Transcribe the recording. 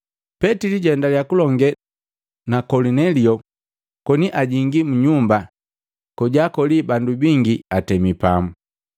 Petili jwaendalya kulonge na Kolinelio koni ajingi mu nyumba kojaakoli bandu bingi atemi pamu.